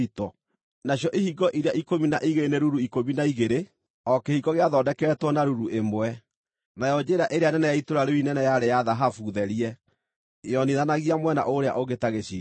Nacio ihingo iria ikũmi na igĩrĩ nĩ ruru ikũmi na igĩrĩ, o kĩhingo gĩathondeketwo na ruru ĩmwe. Nayo njĩra ĩrĩa nene ya itũũra rĩu inene yarĩ ya thahabu therie, yonithanagia mwena ũrĩa ũngĩ ta gĩcicio.